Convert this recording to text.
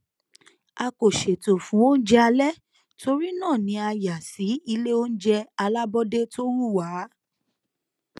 a kò ṣètò fún oúnjẹ alẹ torí náà ni a yà sí iléoúnjẹ alàbọdè tó wù wá